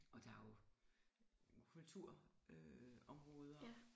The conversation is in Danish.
Og der jo kultur øh områder